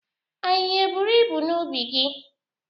Ahịhịa eburu ibu n'ubi gị?